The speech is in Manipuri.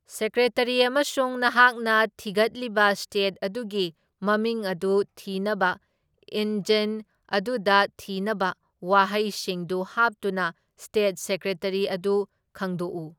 ꯁꯦꯀ꯭ꯔꯦꯇꯔꯤ ꯑꯃꯁꯨꯡ ꯅꯍꯥꯛꯅ ꯊꯤꯒꯠꯂꯤꯕ ꯁ꯭ꯇꯦꯠ ꯑꯗꯨꯒꯤ ꯃꯃꯤꯡ ꯑꯗꯨ ꯊꯤꯅꯕ ꯏꯟꯖꯤꯟ ꯑꯗꯨꯗ ꯊꯤꯅꯕ ꯋꯥꯍꯩꯁꯤꯡꯗꯨ ꯍꯥꯞꯇꯨꯅ ꯁ꯭ꯇꯦꯠ ꯁꯦꯀ꯭ꯔꯦꯇꯔꯤ ꯑꯗꯨ ꯈꯪꯗꯣꯛꯎ꯫